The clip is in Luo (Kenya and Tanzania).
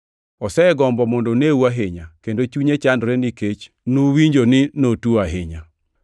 Osegombo mondo oneu ahinya, kendo chunye chandore nikech nuwinjo ni notuo ahinya.